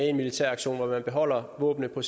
en militær aktion hvor man beholder våbnene på